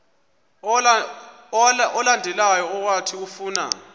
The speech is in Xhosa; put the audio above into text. olandelayo owathi ufuna